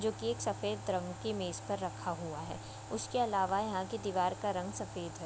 जो कि एक सफ़ेद रंग की मेज पर रखा हुआ है उसके अलावा यहाँ की दीवार का रंग सफ़ेद है।